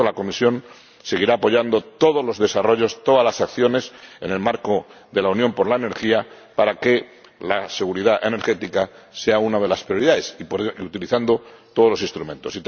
Por lo tanto, la Comisión seguirá apoyando todos los desarrollos, todas las acciones en el marco de la Unión de la Energía para que la seguridad energética sea una de las prioridades, y utilizando todos los instrumentos.